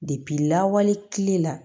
lawale kile la